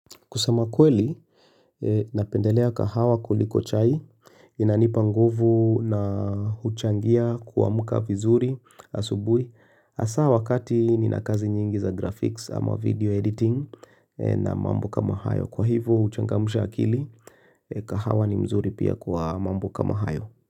Kusama kweli, napendelea kahawa kuliko chai, inanipanguvu na huchangia kuamka vizuri asubui. Asa wakati ni nakazi nyingi za graphics ama video editing na mambo kama hayo. Kwa hivo, huchangamsha akili, kahawa ni mzuri pia kuwa mambo kama hayo.